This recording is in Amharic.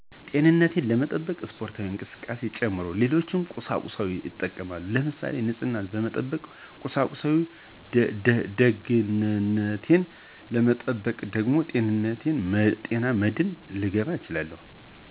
ጤንንቴን ለመጠበቅ ስፖርታዊ እቅስቃሴዎች ጨምሮ ሌሎች ቁሳቁሶችን እጠቀማለሁ ለምሳሌ የንፀህነ መጠበቃ ቁሳቁሶችን፣ ደገንንቴን ለመጠበቅ ደግሞ የጤና መድን ልገባ እችላለሁ።